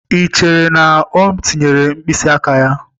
Ee, echere m na O tinyere mkpịsị aka ya.